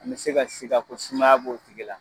An bɛ se ka siga ko sumaya b'o tigi la.